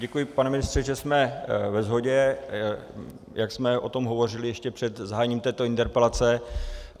Děkuji, pane ministře, že jsme ve shodě, jak jsme o tom hovořili ještě před zahájením této interpelace.